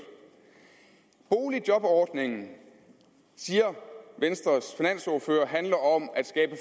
boligjobordningen siger venstres finansordfører handler om at skabe